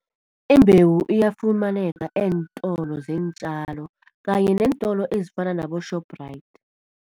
Imbewu iyafumaneka eentolo zeentjalo kanye neentolo ezifana nabo-Shoprite.